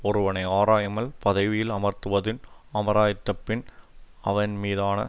ஒருவனை ஆராயாமல் பதவியில் அமர்த்துவதும் அமர்த்தியபின் அவன்மீதான